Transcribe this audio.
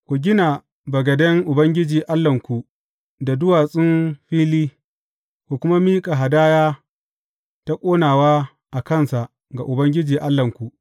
Ku gina bagaden Ubangiji Allahnku da duwatsun fili, ku kuma miƙa hadaya ta ƙonawa a kansa ga Ubangiji Allahnku.